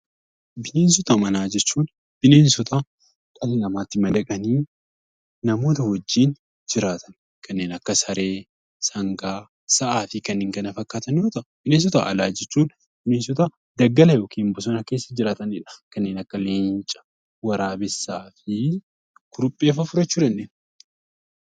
Bineensota manaa jechuun bineensota dhala namaatti madaqanii namoota wajjin jiraatan kanneen akka saree, sangaa, sa'aa fi kanneen kana fakkaatan yoo ta'u, bineensota alaa jechuun bineensota daggala (bosona) keessa jiraatanii dha. Kanneen akka leenca, waraabessaa fi kuruphee faa fudhachuu dandeenya.